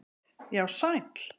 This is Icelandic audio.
Já, sæll